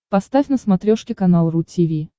поставь на смотрешке канал ру ти ви